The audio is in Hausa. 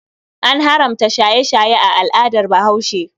An haramta shaye-shaye a al'adar Bahaushe.